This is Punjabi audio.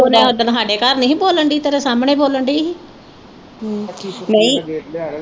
ਉਹਨੇ ਉਦਨ ਹਾਡੇ ਘਰ ਨੀ ਹੀ ਬੋਲਣ ਦੀ ਤੇਰੇ ਸਾਹਮਣੇ ਹੀ ਬੋਲਣ ਦਈ ਹੀ ਕਲੇਸ਼ ਲਿਆਂਦਾ ਤੇ ਮਗਰ ਲਾਇਆ